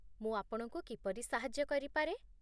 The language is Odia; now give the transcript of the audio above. ମୁଁ ଆପଣଙ୍କୁ କିପରି ସାହାଯ୍ୟ କରିପାରେ?